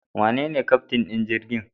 Wanene keftin din jirgin?